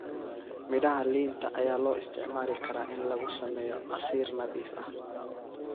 Midhaha liinta ayaa loo isticmaali karaa in lagu sameeyo casiir nadiif ah.